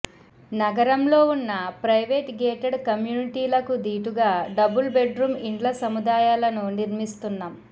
నగరంలో ఉన్న private gated కమ్యూనిటీలకు దీటుగా డబుల్ బెడ్ రూమ్ ఇండ్ల సముదా యాలను నిర్మిస్తున్నాం